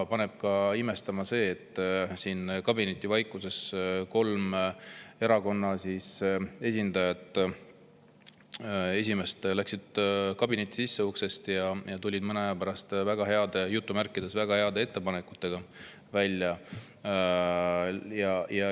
Paneb ka imestama see, et kolme erakonna esimehed läksid kabinetti sisse ja tulid mõne aja pärast "väga heade" ettepanekutega välja.